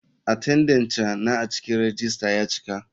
Atendenca na a cikin rejista ya cika.